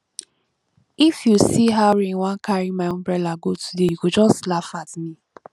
if you see how rain wan carry my umbrella go today you go just laugh at me